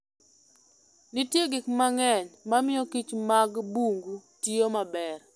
Nitie gik mang'eny mamiyo kich mag bungu tiyo maber.